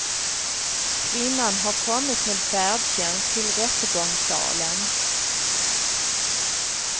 Kvinnan har kommit med färdtjänst till rättegångssalen.